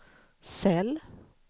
cell